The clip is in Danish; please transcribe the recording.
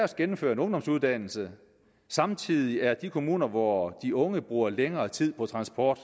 der gennemfører en ungdomsuddannelse samtidig er kommuner hvor de unge bruger længere tid på transport